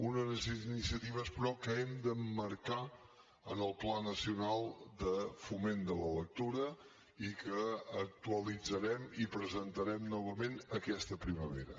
unes iniciatives però que hem d’emmarcar en el pla nacional de foment de la lectura i que actualitzarem i presentarem novament aquesta primavera